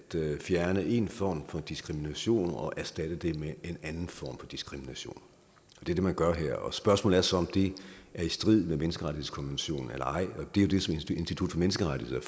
fjerne en form for diskrimination og erstatte den med en anden form for diskrimination det er det man gør her og spørgsmålet er så om det er i strid med menneskerettighedskonventionen eller ej det er det som institut for menneskerettigheder